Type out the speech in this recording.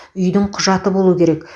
үйдің құжаты болуы керек